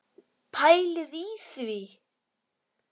Pælið í því!